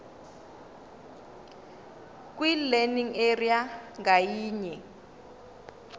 kwilearning area ngayinye